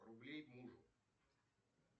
рублей мужу